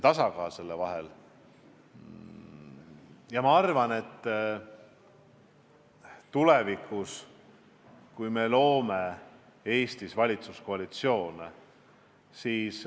Oluline on tasakaal.